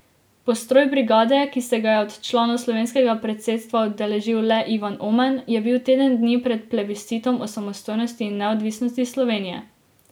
Postroj brigade, ki se ga je od članov slovenskega predsedstva udeležil le Ivan Oman, je bil teden dni pred plebiscitom o samostojnosti in neodvisnosti Slovenije.